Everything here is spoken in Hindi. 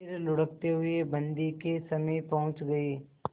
फिर लुढ़कते हुए बन्दी के समीप पहुंच गई